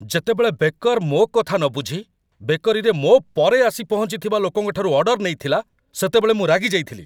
ଯେତେବେଳେ ବେକର୍ ମୋ କଥା ନବୁଝି ବେକରୀରେ ମୋ ପରେ ଆସି ପହଞ୍ଚିଥିବା ଲୋକଙ୍କଠାରୁ ଅର୍ଡର୍ ନେଇଥିଲା, ସେତେବେଳେ ମୁଁ ରାଗିଯାଇଥିଲି।